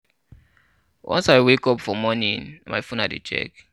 Once I wake up for morning na my phone I dey check.